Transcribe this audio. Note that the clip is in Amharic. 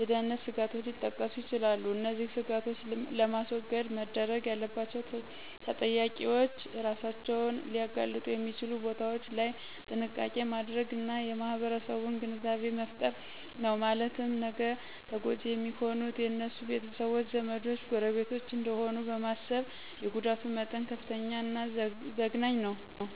የደህንነት ስጋቶች ሊጠቀሱ ይችላሉ። እነዚህን ስጋቶች ለማስወገድ መደረግ ያለባቸውተጠቂዎች እራሳቸውን ሊያጋልጡ የሚችሉ ቦታዎች ላይ ጥንቃቄ ማድረግና የማህረሰቡን ግንዛቤ መፍጠር ነው ማለትም ነገ ተጎጅ የሚሆኑት የነሱ ቤተሰቦች :ዘመዶች :ጎረቤቶች እደሆኑ በማሰብ የጉዳቱ መጠን ከፍተኛና ዘግናኝ መሆኑ